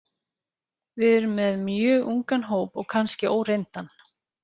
Við erum með mjög ungan hóp og kannski óreyndan.